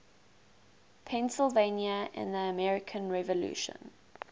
pennsylvania in the american revolution